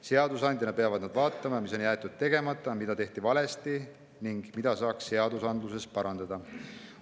Seadusandjana peavad nad vaatama, mis on jäetud tegemata, mida tehti valesti ning mida saaks seadusandluses parandada.